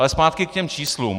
Ale zpátky k těm číslům.